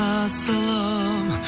асылым